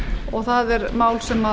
og það er mál sem